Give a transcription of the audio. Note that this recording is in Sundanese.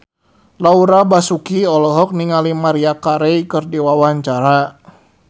Laura Basuki olohok ningali Maria Carey keur diwawancara